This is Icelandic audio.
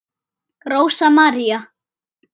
Rósa María.